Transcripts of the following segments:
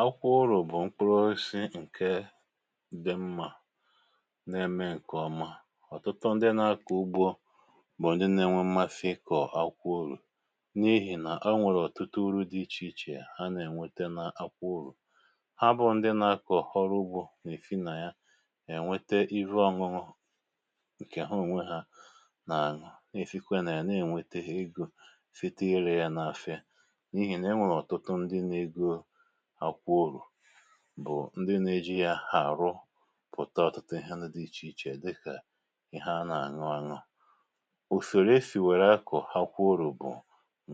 akwụkwo urù bụ̀ mkpụrụo si ǹke di mmà na-eme ǹkè ọma ọ̀tụtụ ndị nȧ-ȧkọ̀ ugbo bụ̀ ndị nà-enwe mmasi ikọ̀ akwụkwo urù n’ihì nà o nwèrè ọ̀tụtụ uru̇ dị ichè ichè ha nà-ènwete n’akwụkwo urù ha bụ ndị nȧ-ȧkọ̀ ọrụ ugbȯ nà-èsi nà ya ènwete ihu ọṅụṅụ ǹkè ha ònwe hȧ nà-àṅụ nà-èsikwe nà ya na-ènwètèhè ego site irȧ ya n’àfia n'ihi enwere otutu ndi na ego akwukwo urù bụ̀ ndị nȧ-eji yȧ àrụpụ̀ta ọ̀tụtụ ihe ndi di ichè ichè dịkà ihe ana-àñụ añu usoro esi akọ̀ akwụkwo urù bụ̀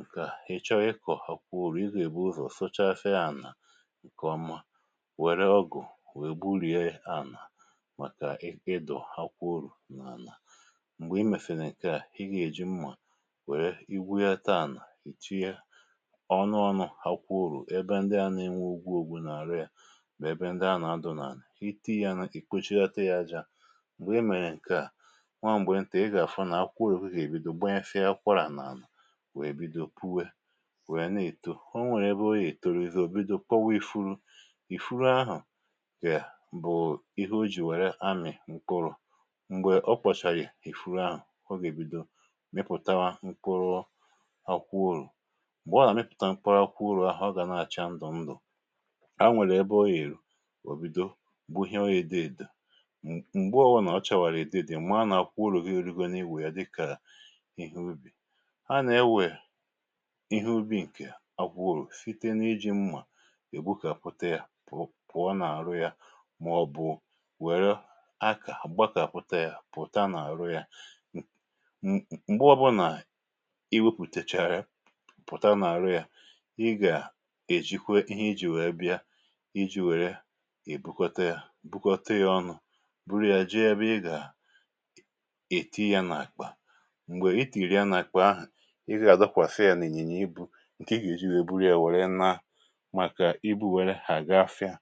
ǹkè à hì chọọ ikọ̀ akwụkwo urù ịgà èbu ụzọ̀ sochasi ȧnà ǹkè ọmà wère ọgụ̀ wèe gburìe ànà màkà ịdọ̀ akwụkwo urù n’ànà m̀gbè i mèsèri ǹkè à i gà-èji mmȧ wère igwu ya taa ànà ì tinye onu onu akwukwo uru ebe ndi a na nwee ógwú ógwú na aru ya na ébé ndi anà-adụ̀ n’ànà iti yȧ nà ì kpòchighota yȧ aja m̀gbè i mèrè ǹkèa nwaà m̀gbè ntè i gà-àfụ nà akwụkwọ̇ uru gà-èbido gbanyesia akwara n’ana wèe bido puwe wèe na-èto onwèrè ebe o ya etòròzi bido kpọwa ifuru ìfuru ahụ̀ kè bụ̀ ihe o jì wère amị̀ mkpụrụ m̀gbè o kpọ̀chàghị̀ ìfuru ahụ̀ o gà-èbido mịpụ̀tawa mkpụrụ akwụkwo uru̇ mgbe o na a miputa mkpuru akwukwo uru oga na acha ndu ndu nwèrè ebe ọ ya èrù òbido gbuhewe èdo èdo m̀gbe ọ̀bụ̀ nà ọ chàwàrà èdo èdo í m̀ara nà àkwụkwo urù gi erugo n’iwė ya dịkà ihe ubì ha nà-enwè ihe ubi̇ ǹkè akwụkwo urụ̀ site na-iji̇ mmà ègbu kàpụte ya pụọ pụọ n’àrụ ya màọ̀bụ̀ wère akà gbakàpụta ya pụ̀ta n’àrụ ya mm m̀gbe ọ̀bụnà iwėpùtèchàrà ya pụ̀ta n’àrụ ya i ga eji kwe ihe iji wère bia ìji wère e bụkọta yȧ bụkọta yȧ ọnụ̇ buru ya jee èbe ị gà èti ya n’àkpà m̀gbè i tìnyere ya n’àkpà ahụ̀ ị gà dọkwàsị ya n’ìnyìnyì ịbụ ǹkè i gà-èji wèe buru ya wèrè naa màkà ibu̇ wère ga-afịa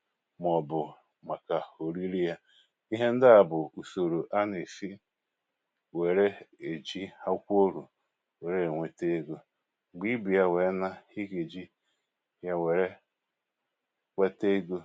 màọbụ̀ màkà oriri ya ihe ndi à bụ̀ ùsòrò a nà-èsi wère èji akwúkwo urù wère ènwete egȯ m̀gbè ibu ya wèe naa i gà-èji ya wère wèté égo